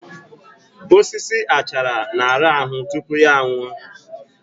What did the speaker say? Osisi achara na-arahụ tupu ya nwụọ